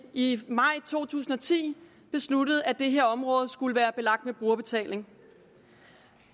i maj to tusind og ti besluttede at det her område skulle være belagt med brugerbetaling